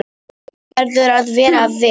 Þjóðin verður að vera virk.